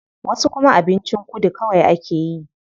Wasu kuma abincin kudu kawai akeyi.